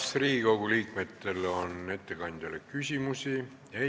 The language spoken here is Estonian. Kas Riigikogu liikmetel on ettekandjale küsimusi?